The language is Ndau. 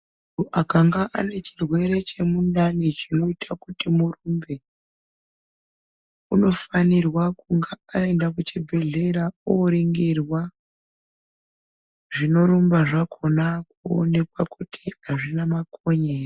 Akanga anechirwere chemundani chinoita kuti murumbe unofanirwa kunga aenda kuchibhedhlera oringirwa zvinorumba zvakhona kuonekwa kuti azvina makonye ere.